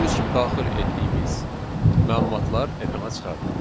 Gördüyünüz kimi daxil etdiyimiz məlumatlar ekrana çıxarıldı.